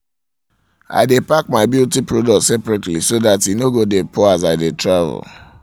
i dae pack my beauty products separately so that e no go dae pour as i dae travel